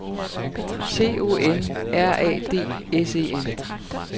C O N R A D S E N